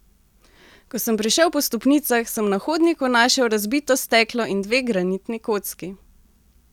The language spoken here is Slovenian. Ko sem prišel po stopnicah, sem na hodniku našel razbito steklo in dve granitni kocki.